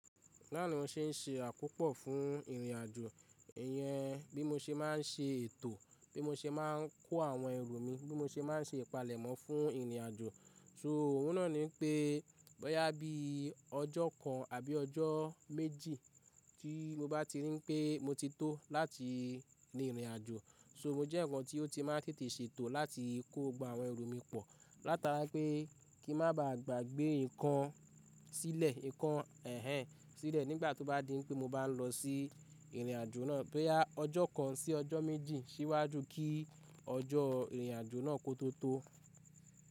Lánàá ṣe ń se àkópò fún ìrìnàjò, ìyẹn bí mo ṣe má ń se ètò, bí mo ṣe má ń kó àwọn ẹrù mi, bí mo ṣe má ń ṣe ìpalẹ̀mọ́ fún ìrìnàjò. So òun náà ni pé báyá bí ọjọ́ kan àbí ọjọ́ méjì tí mo bá ti rí pé mo ti tó láti rin ìrìnàjò, so mo jẹ́ ǹkan tí ó ti má ń tètè ṣe ètò láti kó gba àwọn ẹrù mi pọ̀ látara pé kí n má ba à gbàgbé ǹkan sílẹ̀, ǹkan ẹ́hẹn sílẹ̀ nígbà tó bá di pé mo bá ń lọ sí ìrìnàjò náà. Báyá ọjọ́ kan sí ọjọ́ méjì síwájú kí ọjọ́ ìrìnàjò náà kó tó tó.